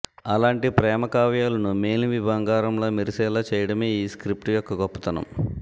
అలాంటి ప్రేమ కావ్యాలను మేలిమి బంగారంలా మెరిసేలా చేయడమే ఈ స్క్రిప్ట్ యొక్క గొప్పతనం